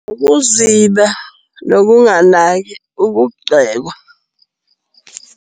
Ukuziba, nokunganaki, ukugxekwa.